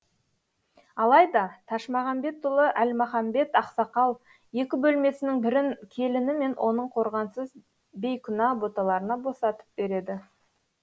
алайда ташмағамбетұлы әлмағамбет ақсақал екі бөлмесінің бірін келіні мен оның қорғансыз бейкүнә боталарына босатып береді